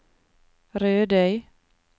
Rødøy